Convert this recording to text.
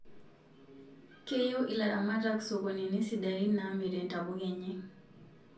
keyieu ilaramatak sokonini sidain namirie ntapuka enye